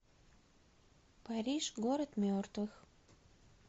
париж город мертвых